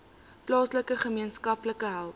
plaaslike gemeenskappe help